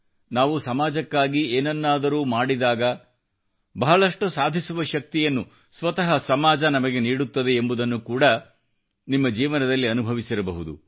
ನಾವು ಸಮಾಜಕ್ಕಾಗಿ ಏನನ್ನಾದರೂ ಮಾಡಿದಾಗ ಬಹಳಷ್ಟು ಸಾಧಿಸುವ ಶಕ್ತಿಯನ್ನು ಸ್ವತಃ ಸಮಾಜ ನಮಗೆ ನೀಡುತ್ತದೆ ಎಂಬುದನ್ನು ನೀವು ಕೂಡಾ ನಿಮ್ಮ ಜೀವನದಲ್ಲಿ ಅನುಭವಿಸಿರಬಹುದು